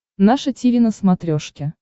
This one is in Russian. наше тиви на смотрешке